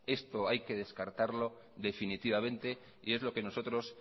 esto hay que descartarlo definitivamente y es lo que nosotros